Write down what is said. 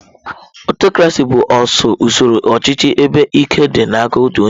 Aụtọcrasị bụ usoro ọchịchị ebe ike dị n'aka otu onye.